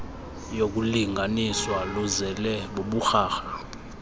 yokulingaaniswa luzele buburharha